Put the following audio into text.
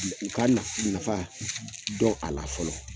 u ka ka nafa dɔn a la fɔlɔ.